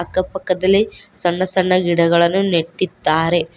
ಅಕ್ಕ ಪಕ್ಕದಲ್ಲಿ ಸಣ್ಣ ಸಣ್ಣ ಗಿಡಗಳನ್ನು ನೆಟ್ಟಿದ್ದಾರೆ.